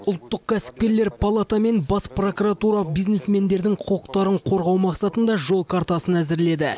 ұлттық кәсіпкерлер палата мен бас прокуратура бизнесмендердің құқықтарын қорғау мақсатында жол картасын әзірледі